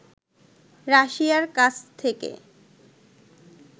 রাশিয়ার কাছ থেকে